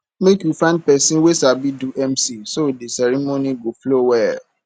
make we find pesin wey sabi do mc so di ceremony go flow well